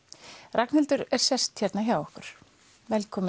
Ragnhildur er sest hérna hjá okkur velkomin